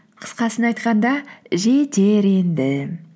қысқасын айтқанда жетер енді